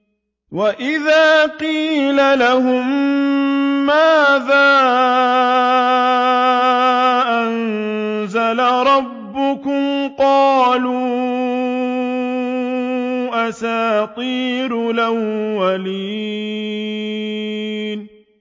وَإِذَا قِيلَ لَهُم مَّاذَا أَنزَلَ رَبُّكُمْ ۙ قَالُوا أَسَاطِيرُ الْأَوَّلِينَ